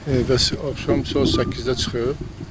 evdə axşam saat 8-də çıxıb.